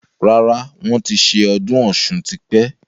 Rárá, wọn ti ṣe ọdún Ọ̀sun tí pẹ́.